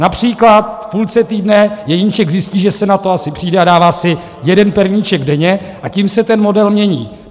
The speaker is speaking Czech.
Například v půlce týdne Jeníček zjistí, že se na to asi přijde, a dává si jeden perníček denně, a tím se ten model mění.